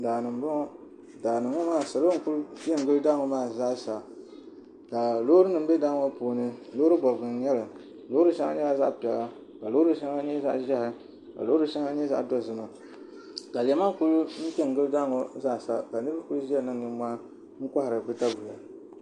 daani m-bɔŋɔ daani ŋɔ maa salo n kuli pe n gili daa ŋɔ maa zaa sa ka loorinima be daa ŋɔ puuni loori bɔbigu n-nyɛ li loori shɛŋa nyɛla zaɣ' piɛla ka loori shɛŋa nyɛ zaɣ' ʒehi ka loori shɛŋa nyɛ zaɣ' dozima ka lema kuli pe n gili daa ŋɔ zaa sa ka niriba kuli ʒia niŋ nimmɔhi n kɔhiri bɛ daguya